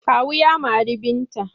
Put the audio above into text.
Kawu ya mari Binta.